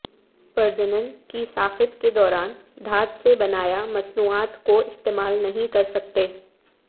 پرجنن کی ساخت کے دوران دھات سے بنایا مصنوعات کو استعمال نہیں کر سکتے